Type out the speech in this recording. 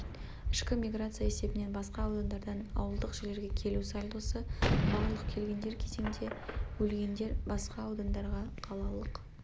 ішкі миграция есебінен басқа аудандардан ауылдық жерлерге келу сальдосы барлық келгендер кезеңде өлгендер басқа аудандарға қалалық